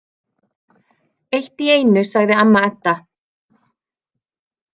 Eitt í einu, sagði amma Edda.